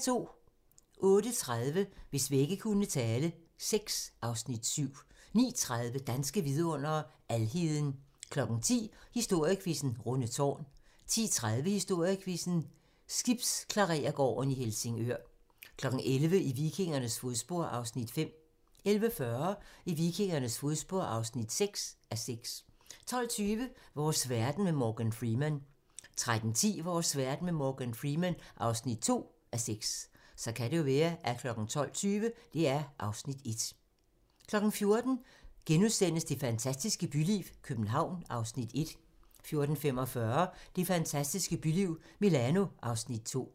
08:30: Hvis vægge kunne tale VI (Afs. 7) 09:30: Danske vidundere: Alheden 10:00: Historiequizzen: Rundetårn 10:30: Historiequizzen: Skibsklarerergården i Helsingør 11:00: I vikingernes fodspor (5:6) 11:40: I vikingernes fodspor (6:6) 12:20: Vores verden med Morgan Freeman 13:10: Vores verden med Morgan Freeman (2:6) 14:00: Det fantastiske byliv – København (Afs. 1)* 14:45: Det fantastiske byliv – Milano (Afs. 2)